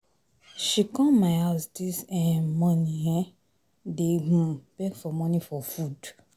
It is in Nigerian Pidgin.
She come my house dis um morning um dey um beg for money for food